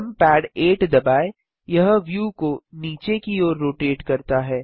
numpad 8 दबाएँ यह view को नीचे की ओर रोटेट करता है